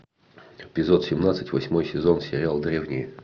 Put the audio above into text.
эпизод семнадцать восьмой сезон сериал древние